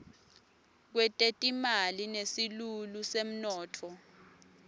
kwetetimali nesilulu semnotfo